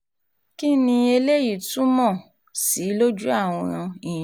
kín ni eléyìí túmọ̀ um sí lójú àwọn èèyàn